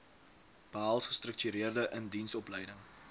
behels gestruktureerde indiensopleiding